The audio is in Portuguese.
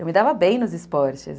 Eu me dava bem nos esportes.